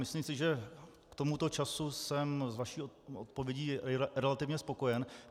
Myslím si, že k tomuto času jsem s vaší odpovědí relativně spokojen.